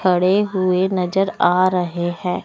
खड़े हुए नजर आ रहे हैं।